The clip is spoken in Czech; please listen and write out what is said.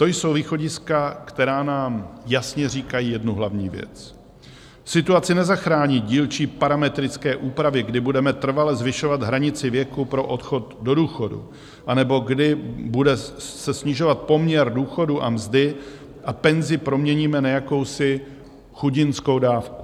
To jsou východiska, která nám jasně říkají jednu hlavní věc: situaci nezachrání dílčí parametrické úpravy, kdy budeme trvale zvyšovat hranici věku pro odchod do důchodu anebo kdy se bude snižovat poměr důchodu a mzdy a penzi proměníme na jakousi chudinskou dávku.